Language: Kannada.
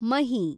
ಮಹಿ